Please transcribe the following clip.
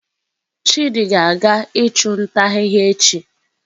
Chidi ga-aga ichu nta ahihia echi